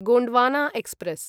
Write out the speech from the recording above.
Gondwana express